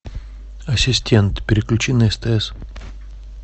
ассистент переключи на стс